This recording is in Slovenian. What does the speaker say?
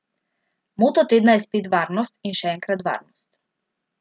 Moto tedna je spet varnost in še enkrat varnost.